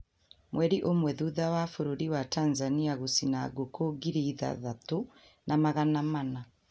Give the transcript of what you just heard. Mweri ũmwe thutha wa bũrũri wa Tanzania gũcina ngũkũ ngiri ithathatu na magana mana